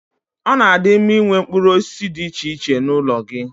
Ọ na-adi mma Ị nwee mkpụrụ osisi dị iche iche n'ụlọ gị.